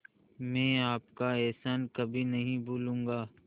मैं आपका एहसान कभी नहीं भूलूंगा